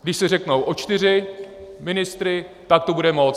Když si řeknou o čtyři ministry, tak to bude moc.